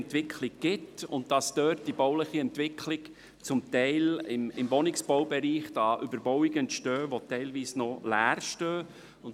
Dort findet die bauliche Entwicklung zum Teil im Bereich des Wohnungsbaus statt, und es entstehen Wohnungen, die teilweise noch leer stehen.